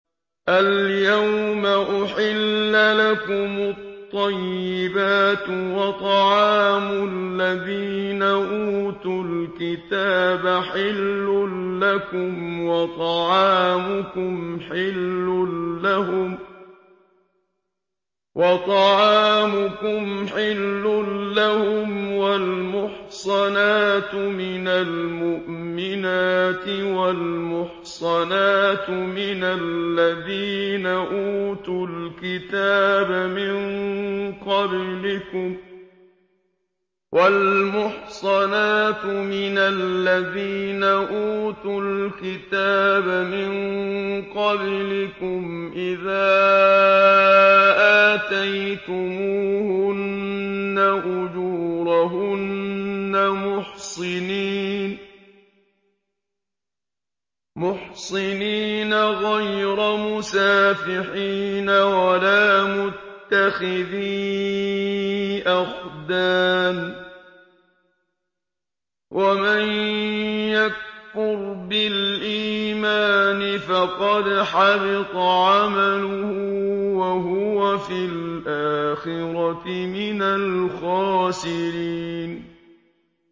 الْيَوْمَ أُحِلَّ لَكُمُ الطَّيِّبَاتُ ۖ وَطَعَامُ الَّذِينَ أُوتُوا الْكِتَابَ حِلٌّ لَّكُمْ وَطَعَامُكُمْ حِلٌّ لَّهُمْ ۖ وَالْمُحْصَنَاتُ مِنَ الْمُؤْمِنَاتِ وَالْمُحْصَنَاتُ مِنَ الَّذِينَ أُوتُوا الْكِتَابَ مِن قَبْلِكُمْ إِذَا آتَيْتُمُوهُنَّ أُجُورَهُنَّ مُحْصِنِينَ غَيْرَ مُسَافِحِينَ وَلَا مُتَّخِذِي أَخْدَانٍ ۗ وَمَن يَكْفُرْ بِالْإِيمَانِ فَقَدْ حَبِطَ عَمَلُهُ وَهُوَ فِي الْآخِرَةِ مِنَ الْخَاسِرِينَ